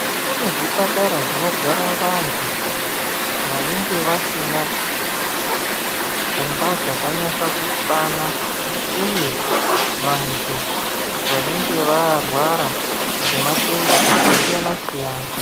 Kune zvipatara zvinogara vantu vanenge vasina pfungwa dzakanyasa kukwana uye vantu vanenge varwara ngematenda akasiyana-siyana.